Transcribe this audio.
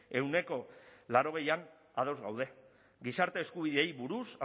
ehuneko laurogeian ados gaude gizarte eskubideei buruz